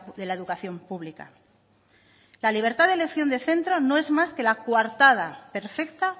de la educación pública la libertad de elección de centro no es más que la coartada perfecta